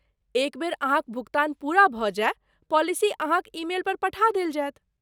एक बेर अहाँक भुगतान पूरा भऽ जाय, पॉलिसी अहाँक ईमेल पर पठा देल जायत।